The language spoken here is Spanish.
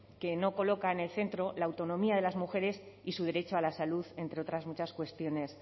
que no coloca en el centro la autonomía de las mujeres y su derecho a la salud entre otras muchas cuestiones